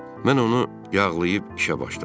Mən onu yağlayıb işə başladım.